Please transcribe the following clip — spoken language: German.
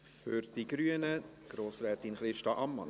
Für die grüne Fraktion Grossrätin Christa Ammann.